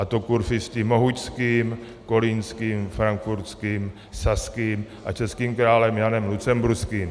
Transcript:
A to kurfiřty mohučským, kolínským, frankfurtským, saským a českým králem Janem Lucemburským.